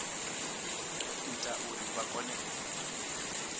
ita uri vha kone u